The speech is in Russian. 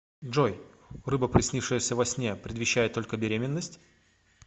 джой рыба приснившаяся во сне предвещает только беременность